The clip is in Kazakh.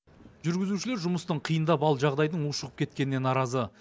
жүргізушілер жұмыстың қиындап ал жағдайдың ушығып кеткеніне наразы